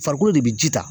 Farikolo de bɛ ji ta